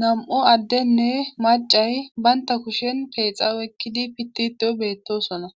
Nam7u addenne maccay bantta kushen peexa oykkidi pittiiddo beettoosona